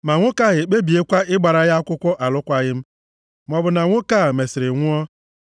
ma nwoke ahụ ekpebiekwa ịgbara ya akwụkwọ achọkwaghị m, maọbụ na nwoke a mesịrị nwụọ,